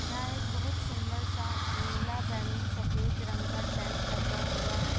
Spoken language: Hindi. जहाँ एक बहुत सुंदर सा नीला बैगनी सफ़ेद रंग का टेंट लगा हुआ है।